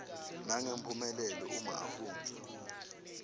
nangemphumelelo uma afundza